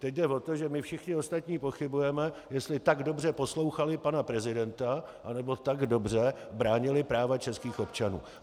Teď jde o to, že my všichni ostatní pochybujeme, jestli tak dobře poslouchali pana prezidenta, anebo tak dobře bránili práva českých občanů.